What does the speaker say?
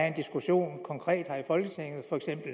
en diskussion konkret her i folketinget for eksempel